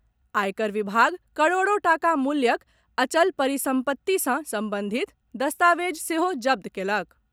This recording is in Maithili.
आयकर विभाग करोड़ों टाका मूल्यक अचल परिसम्पत्ति सॅ संबंधित दस्तावेज सेहो जब्त कएलक।